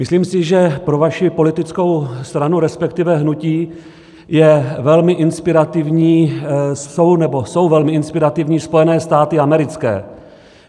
Myslím si, že pro vaši politickou stranu, respektive hnutí, jsou velmi inspirativní Spojené státy americké.